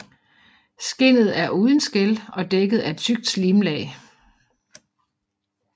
Skindet er uden skæl og dækket af et tykt slimlag